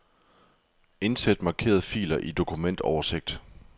Indsæt markerede filer i dokumentoversigt.